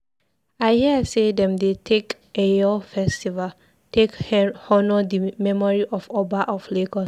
I hear sey dem dey take Eyo festival take honour di memory of Oba of Lagos.